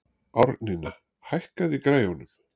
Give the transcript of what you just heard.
Árnína, hækkaðu í græjunum.